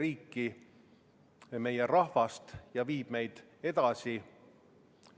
Ettepaneku poolt hääletas 40 Riigikogu liiget, vastu oli 55, erapooletuks jäi 1.